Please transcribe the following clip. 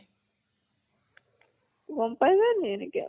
গম পাই যায় নেকি এনেকে?